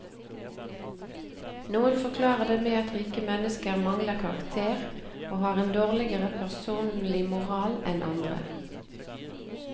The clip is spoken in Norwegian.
Noen forklarer det med at rike mennesker mangler karakter, og har en dårligere personlig moral enn andre.